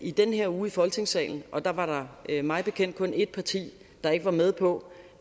i den her uge i folketingssalen og der var der mig bekendt kun et parti der ikke var med på